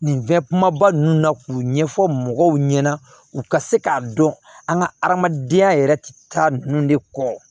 Nin fɛn kumaba ninnu na k'u ɲɛfɔ mɔgɔw ɲɛna u ka se k'a dɔn an ka adamadenya yɛrɛ taa ninnu de kɔ